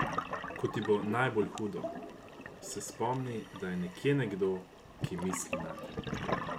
Ko ti bo najbolj hudo, se spomni, da je nekje nekdo, ki misli nate!